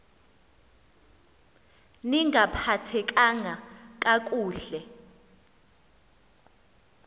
ni ngaphathekanga kakuhle